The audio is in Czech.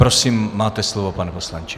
Prosím, máte slovo, pane poslanče.